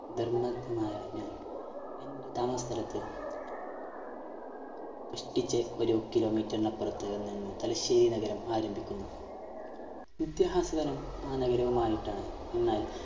ധർമ്മടത്തു നിന്നായ ഞാൻ എന്റെ താമസസ്ഥലത്ത് കഷ്ട്ടിച്ച് ഒരു Kilometer ന് അപ്പുറത്ത് നിന്നും തലശ്ശേരി നഗരം ആരംഭിക്കുന്നു നിത്യഹാസകനം ആ നഗരവുമായിട്ടാണ് ഞങ്ങൾ